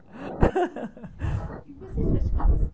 E você praticava